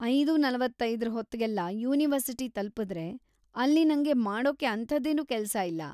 ಐದು:ನಲವತ್ತೈದರ ಹೊತ್ಗೆಲ್ಲ ಯೂನಿವರ್ಸಿಟಿ ತಲುಪಿದ್ರೆ, ಅಲ್ಲಿ ನಂಗೆ ಮಾಡೋಕೆ ಅಂಥದ್ದೇನೂ ಕೆಲ್ಸ ಇಲ್ಲ.